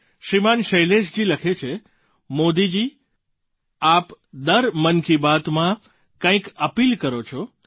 શ્રીમાન શૈલેશજી લખે છે મોદીજી આપ દર મન કી બાતમાં કંઈક અપીલ કરો છો